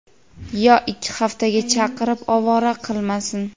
yo ikki haftaga chaqirib ovora qilmasin!.